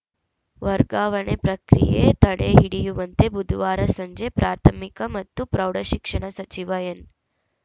ವರ್ಗಾವಣೆ ಪ್ರಕ್ರಿಯೆ ತಡೆಹಿಡಿಯುವಂತೆ ಬುಧವಾರ ಸಂಜೆ ಪ್ರಾಥಮಿಕ ಮತ್ತು ಪ್ರೌಢಶಿಕ್ಷಣ ಸಚಿವ ಎನ್‌